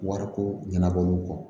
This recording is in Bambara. Wariko ɲɛnabɔ olu kɔ